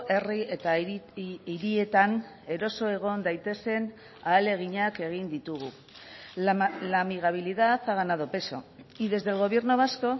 herri eta hirietan eroso egon daitezen ahaleginak egin ditugu la amigabilidad ha ganado peso y desde el gobierno vasco